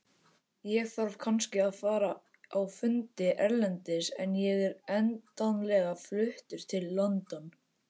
Ég þarf kannski að fara á fundi erlendis en ég er endanlega fluttur til London.